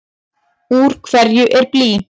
Úr hverju er blý?